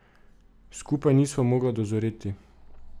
Skupaj nisva mogla dozoreti.